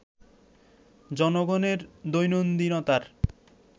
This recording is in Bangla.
জনগণের দৈনন্দিনতার